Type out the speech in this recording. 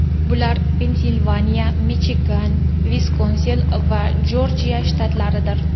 Bular Pensilvaniya, Michigan, Viskonsin va Jorjiya shtatlaridir.